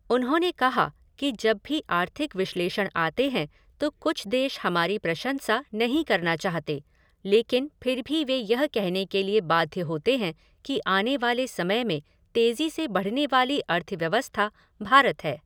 उन्होंने कहा कि जब भी आर्थिक विश्लेषण आते हैं तो कुछ देश हमारी प्रशंसा नहीं करना चाहते, लेकिन फिर भी वे यह कहने के लिए बाध्य होते हैं कि आने वाले समय में तेजी से बढ़ने वाली अर्थव्यवस्था भारत है।